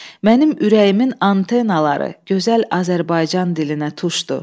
Mənim ürəyimin antenaları gözəl Azərbaycan dilinə tuşdu.